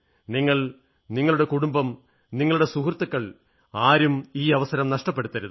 നിങ്ങൾ നിങ്ങളുടെ കുടുംബം നിങ്ങളുടെ സുഹൃത്തുക്കൾ ആരും ഈ അവസരം നഷ്ടപ്പെടുത്തരുത്